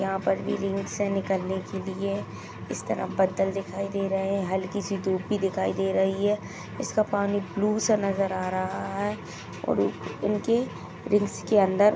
यहाँ पर भी रिंग से निकलने के लिए इस तरफ बद्दल दिखाई दे रहे है हल्की सी धूप भी दिखाई दे रही है इसका पानी ब्लू सा नजर आ रहा है और उ उनके रिंग्स के अंदर --